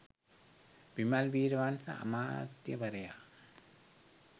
විමල් වීරවංශ අමාත්‍යවරයා